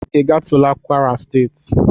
Ị gatula kwara steeti?